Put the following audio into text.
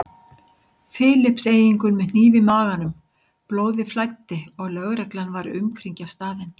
Filippseyingur með hníf í maganum, blóðið flæddi og lögreglan var að umkringja staðinn.